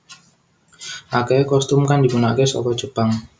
Akehe costume kang digunakan saka Jepang